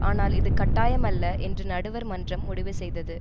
ஆனால் இது கட்டாயமல்ல என்று நடுவர் மன்றம் முடிவு செய்தது